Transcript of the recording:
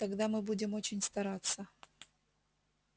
тогда мы будем очень стараться